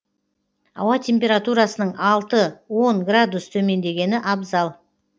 ауа температурасының алты он градус төмендемегені абзал